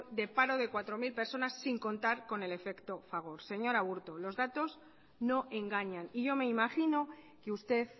de paro de cuatro mil personas sin contar con el efecto fagor señor aburto los daños no engañan y yo me imagino que usted